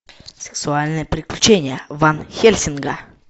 сексуальные приключения ван хельсинга